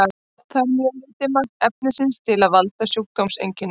oft þarf mjög lítið magn efnisins til að valda sjúkdómseinkennum